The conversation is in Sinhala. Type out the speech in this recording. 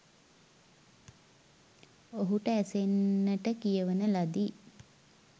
ඔහුට ඇසෙන්නට කියවන ලදී.